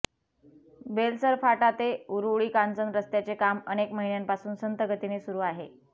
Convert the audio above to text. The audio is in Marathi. बेलसर फाटा ते उरूळी कांचन रस्त्याचे काम अनेक महिन्यांपासून संथ गतीने सुरू आहे